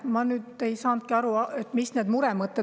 Ma nüüd ei saanudki aru, mis need muremõtted on.